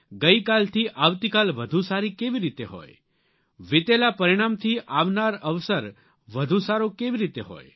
ગઇ કાલથી આવતીકાલ વધુ સારી કેવી રીતે હોય વિતેલા પરિણામથી આવનાર અવસર વધુ સારો કેવી રીતે હોય